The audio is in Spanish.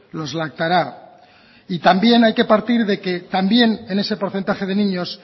los lactará y también hay que partir de que también en ese porcentaje de niños